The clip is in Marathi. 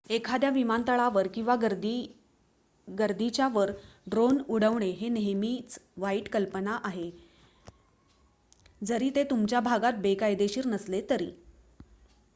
एखाद्या विमानतळावर किंवा गर्दीच्या वर ड्रोन उडवणे ही नेहमीच वाईट कल्पना आहे जरी ते तुमच्या भागात बेकायदेशीर नसले तरी